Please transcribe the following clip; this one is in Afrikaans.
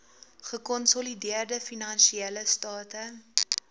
gekonsolideerde finansiële state